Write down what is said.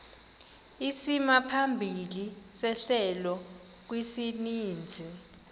isimaphambili sehlelo kwisininzi